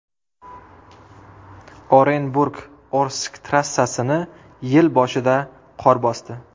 Orenburg Orsk trassasini yil boshida qor bosdi.